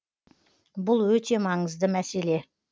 бұл өте маңызды мәселе